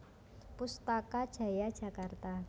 Pustaka Jaya Jakarta